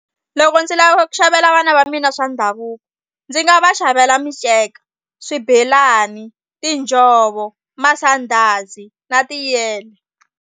Loko ndzi lava ku xavela vana va mina swa ndhavuko ndzi nga va xavela minceka, swibelani, tinjhovo, masandhazi na tiyele.